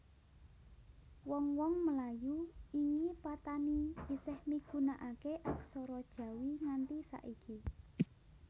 Wong wong Melayu ingi Patani isih migunakaké aksara Jawi nganti saiki